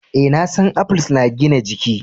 Eh, na san apples na gina jiki.